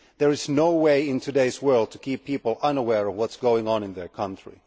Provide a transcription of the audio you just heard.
There is no way in today's world to keep people unaware of what is going on in their country.